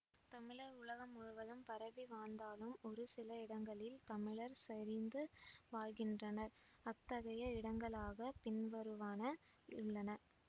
தமிழர் உலகம் முழுவதும் பரவி வாழ்ந்தாலும் ஒரு சில இடங்களில் தமிழர் செறிந்து வாழ்கின்றனர் அத்தகைய இடங்களாகப் பின்வருவன உள்ளன